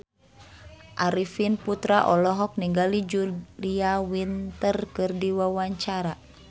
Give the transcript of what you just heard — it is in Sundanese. Arifin Putra olohok ningali Julia Winter keur diwawancara